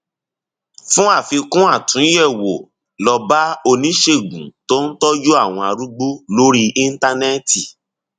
fún àfikún àtúnyẹwò lọ bá oníṣègùn tó ń tọjú àwọn arúgbó lórí íńtánẹẹtì